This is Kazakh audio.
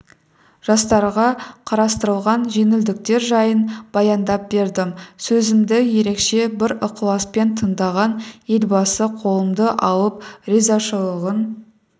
жастарға қарастырылған жеңілдіктер жайын баяндап бердім сөзімді ерекше бір ықыласпен тыңдаған елбасы қолымды алып ризашылығын